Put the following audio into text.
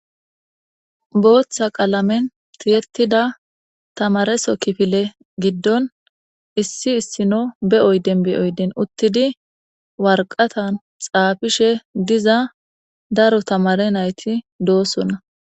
booththa qalamen tiyettida tamareso kifile giddon issi issino be7oy denbiyoydin uttidi warqatan xaafishe diza daro tamare nayti doosona